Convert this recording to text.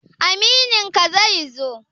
Amininka zai zo?